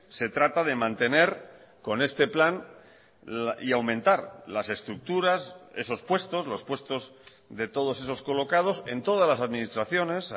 se trata de mantener con este plan y aumentar las estructuras esos puestos los puestos de todos esos colocados en todas las administraciones